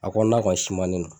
A ko n'a ka sumanni na